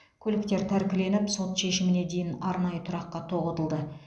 көліктер тәркіленіп сот шешіміне дейін арнайы тұраққа тоғытылды